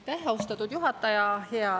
Aitäh, austatud juhataja!